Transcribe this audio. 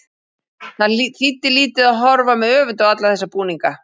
Það þýddi lítið að horfa með öfund á alla þessa búninga.